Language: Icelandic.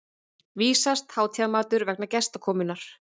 vísast hátíðarmatur vegna gestakomunnar.